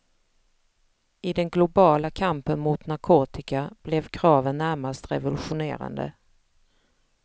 I den globala kampen mot narkotika blev kraven närmast revolutionerande.